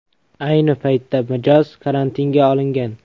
Ayni paytda mijoz karantinga olingan.